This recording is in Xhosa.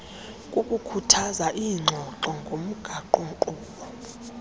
kukukhuthaza iingxoxo ngomgaqonkqubo